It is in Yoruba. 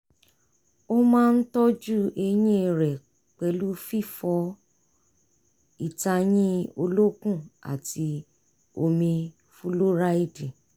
ó máa ń tọ́jú eyín rẹ̀ pẹ̀lú fífọ ìtayín olókùn àti omi fúlóráìdì